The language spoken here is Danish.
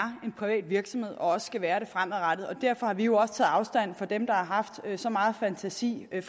en privat virksomhed og også skal være det fremadrettet og derfor har vi jo også taget afstand fra dem der har haft så meget fantasi det